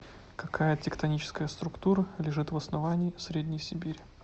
какая тектоническая структура лежит в основании средней сибири